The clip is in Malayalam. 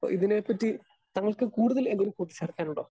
സ്പീക്കർ 2 അപ്പൊ ഇതിനെപ്പറ്റി താങ്കൾക്ക് കൂടുതൽ എന്തെങ്കിലും കൂട്ടിച്ചേർക്കാനുണ്ടോ?